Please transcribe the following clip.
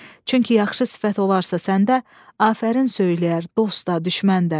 Çünki yaxşı sifət olarsa səndə, afərin söyləyər dost da, düşmən də.